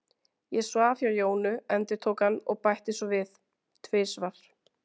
Ég svaf hjá Jónu, endurtók hann og bætti svo við: Tvisvar.